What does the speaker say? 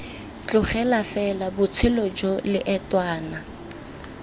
tlogela fela botshelo jo leotwana